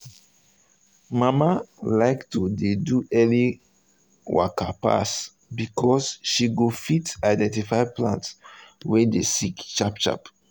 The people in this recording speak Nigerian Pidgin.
um mama um like to dey do early waka pass because she go fit identify plants wey dey sick sharp sharp